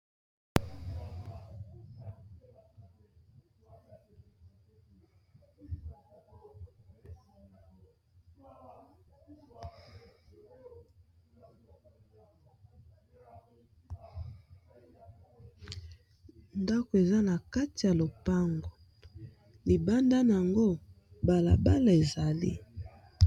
Ndako eza na kati ya lopango, libandaa nango balabala ezali.